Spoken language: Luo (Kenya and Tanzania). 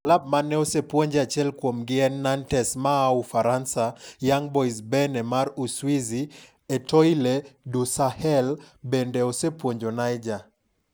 Klabu mane osepuonje achiel kuomgi en Nantes maa Ufaransa, Young Boys Berne mar Uswizi, Etoile du Sahel bende osepuonjo Niger.